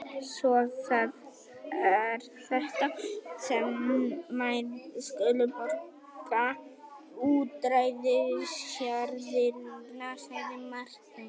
Svo það er þetta sem þær skulu borga útræðisjarðirnar, sagði Marteinn.